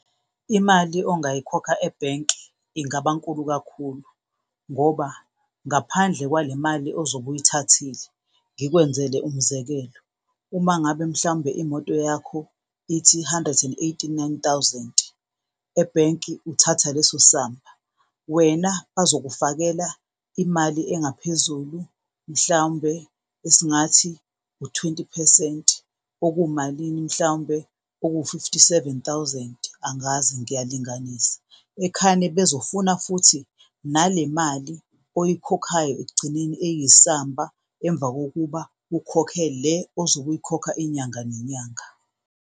Imali ongayikhokha ebhenki ingaba nkulu kakhulu ngoba ngaphandle kwale mali ozobe uyithathile, ngikwenzele umzekelo, uma ngabe mhlawumbe imoto yakho ithi hundred and eighty nini thousand, ebhenki uthatha leso samba, wena azokufakela imali engaphezulu, mhlawumbe esingathi u-twenty phesenti okuwumalini mhlawumbe? Oku-fifty seven thousand, angazi ngiyalinganisa ekhane bezofuna futhi nale mali oyikhokhayo ekugcineni eyisamba, emva kokuba ukhokhe le ozobe uyikhokha inyanga nenyanga.